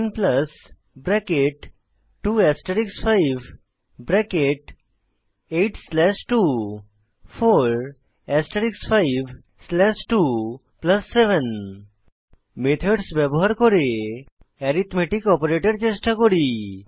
10 bracket 2 asterisk 5 bracket 8 slash 2 4 asterisk 5 slash 2 plus 7 methods ব্যবহার করে arithmetic operator চেষ্টা করি